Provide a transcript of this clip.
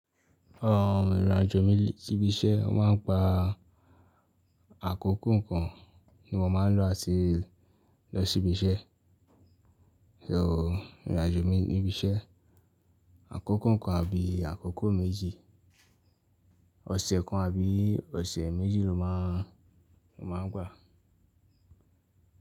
Ìrìn àjò mi sí ibi iṣẹ́, o máa ń gba àkókò kan ni mo máa ń lọ àti lọ sí ibi iṣẹ́. So, ìrìn àjò mi níbi iṣẹ́, àkókò kan àbí àkókò méjì, ọ̀sẹ̀ kan àbí ọ̀sẹ̀ méjì ló máa ń, ló máa ń gbà.